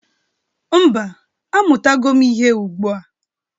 Mba, amụtago m ihe ugbu a.